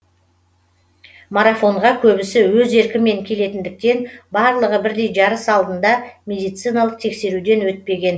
марафонға көбісі өз еркімен келетіндіктен барлығы бірдей жарыс алдында медициналық тексеруден өтпеген